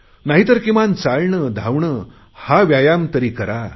नाही तर किमान चालणे धावणे हा व्यायाम तरी करा